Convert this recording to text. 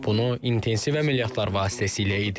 Bunu intensiv əməliyyatlar vasitəsilə edirik.